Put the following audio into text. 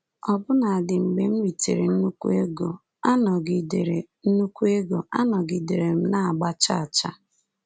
Ọbụna dị mgbe m ritere nnukwu ego, anọgidere nnukwu ego, anọgidere m na-agba chaa chaa.